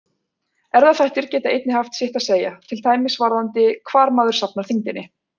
Erfðaþættir geta einnig haft sitt að segja, til dæmis varðandi hvar maður safnar þyngdinni.